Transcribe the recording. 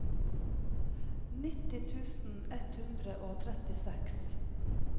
nitti tusen ett hundre og trettiseks